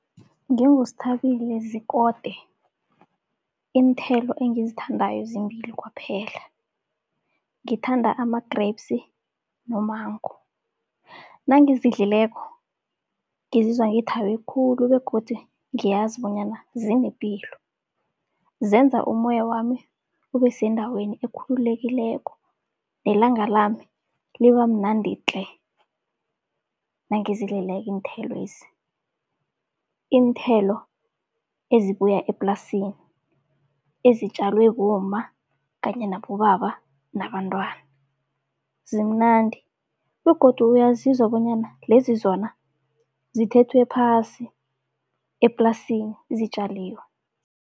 NginguSithabile Zikode, iinthelo engizithandako zimbili kwaphela. Ngithanda ama-grapes no-mango. Nangizidlileko ngizizwa ngithabe khulu begodu ngiyazi bonyana zinepilo. Zenza umoyami ubesendaweni ekhululekileko, nelanga lami liba mnandi tle nangizidlileko iinthelwezi. Iinthelo ezibuya eplasini, ezitjalwe bomma kanye nabobaba nabantwana zimnandi begodu uyazizwa bonyana lezi zona zithethwe phasi eplasini zitjaliwe.